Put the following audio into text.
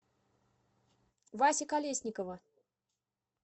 васи колесникова